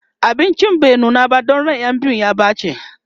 abincin bai nuna ba Dan ran ƴan biyun ya ɓace